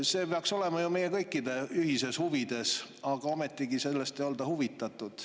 See peaks olema ju meie kõikide ühistes huvides, aga ometigi ei olda sellest huvitatud.